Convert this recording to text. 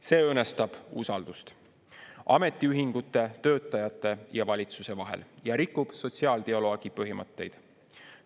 See õõnestab usaldust ametiühingute, töötajate ja valitsuse vahel ja rikub sotsiaaldialoogi põhimõtteid.